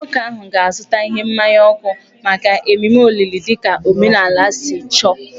Nwoke ahụ ga-azụta ihe mmaya ọkụ maka ememe olili dị ka omenala si chọọ